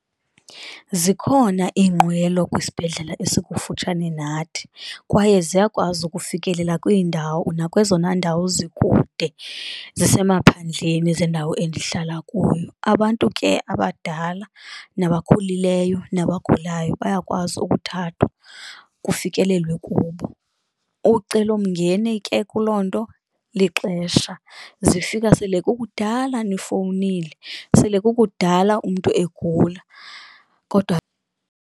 Zikhona iinqwelo kwisibhedlele esikufutshane nathi kwaye ziyakwazi ukufikelela kwiindawo, nakwezona ndawo zikude zisemaphandleni zendawo endihlala kuyo. Abantu ke abadala nabakhulileyo nabagulayo bayakwazi ukuthathwa kufikelelwe kubo, ucelomngeni ke kuloo nto lixesha, zifika sele kukudala nifowunile sele kukudala umntu egula kodwa .